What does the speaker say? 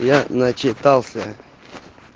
я начитался